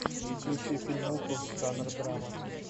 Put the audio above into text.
включи фильмуху жанра драма